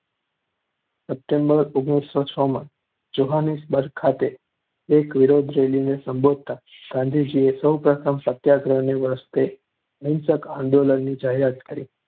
September ઓગણીસો છ માં જોહાનિસબર્ગ ખાતે એક વિરોધ રેલીને સંબોધતા ગાંધીજીએ સૌ પ્રથમવાર સત્યાગ્રહને રસ્તે અહિંસક આંદોલનની જાહેરાત કરી.